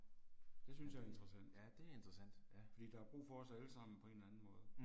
Det synes jeg er interessant. Fordi der er brug for os alle sammen på en eller anden måde